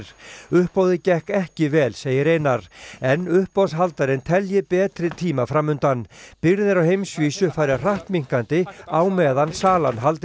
uppboðið gekk ekki vel segir Einar en uppboðshaldarinn telji betri tíma fram undan birgðir á heimsvísu fari hratt minnkandi á meðan salan haldi